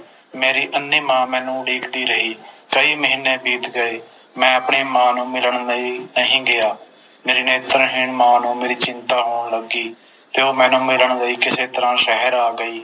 ਮੇਰੀ ਅੰਨ੍ਹੀ ਮਾਂ ਮੈਨੂੰ ਉਡੀਕਦੀ ਰਹੀ ਕਈ ਮਹੀਨੇ ਬੀਤ ਗਏ ਮੈਂ ਆਪਣੀ ਮਾਂ ਨੂੰ ਮਿਲਣ ਲਈ ਨਹੀਂ ਗਿਆ ਮੇਰੀ ਨੇਤਰਹੀਣ ਮਾਂ ਨੂੰ ਮੇਰੀ ਚਿੰਤਾ ਹੋਣ ਲੱਗੀ ਤੇ ਉਹ ਮੈਨੂੰ ਮਿਲਣ ਲਈ ਕਿਸੇ ਤਰ੍ਹਾਂ ਸ਼ਹਿਰ ਆ ਗਈ